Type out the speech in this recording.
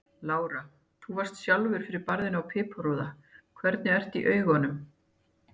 Lára: Þú sjálfur varðst fyrir barðinu fyrir piparúða, hvernig ertu í augunum?